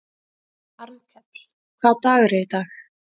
Arnkell, hvaða dagur er í dag?